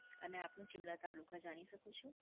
અને આપનું જિલ્લા, તાલુકા જાણી શકું છું?